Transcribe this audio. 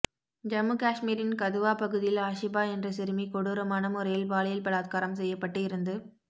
ஜம்மு காஷ்மீரின் கதுவா பகுதியில் ஆஷிபா என்ற சிறுமி கொடூரமான முறையில் பாலியல் பலாத்காரம் செய்யப்பட்டு இறந்து